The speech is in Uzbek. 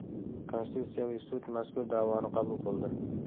Konstitutsiyaviy sud mazkur da’voni qabul qildi.